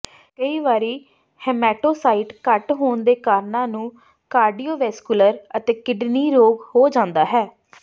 ਕਈ ਵਾਰੀ ਹੇਮਾਟੋਸਾਈਟ ਘੱਟ ਹੋਣ ਦੇ ਕਾਰਨਾਂ ਨੂੰ ਕਾਰਡੀਓਵੈਸਕੁਲਰ ਅਤੇ ਕਿਡਨੀ ਰੋਗ ਹੋ ਜਾਂਦਾ ਹੈ